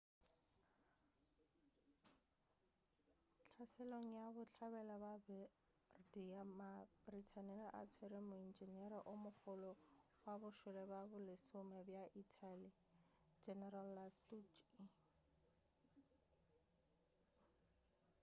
hlaselong ya bohlabela bja bardia ma britain a tswere moentšenere o mogolo wa bošole bja bolesome bja italy general lastucci